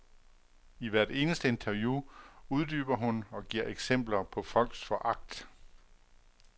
I hvert eneste interview uddyber hun og giver eksempler på folks foragt.